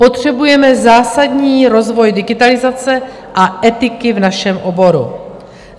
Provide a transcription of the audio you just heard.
Potřebujeme zásadní rozvoj digitalizace a etiky v našem oboru.